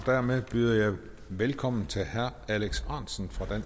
dermed byder jeg velkommen til herre alex ahrendtsen fra